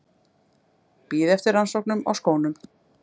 Bíða eftir rannsóknum á skónum